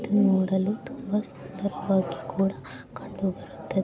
ಇದು ನೋಡಲು ತುಂಬಾ ಸುಂದರವಾಗಿ ಕೂಡ ಕಂಡು ಬರುತ್ತೆ.